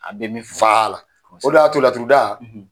A bɛɛ bɛ f'a la o de y'a to laturuda